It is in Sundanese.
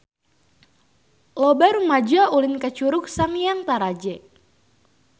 Loba rumaja ulin ka Curug Sanghyang Taraje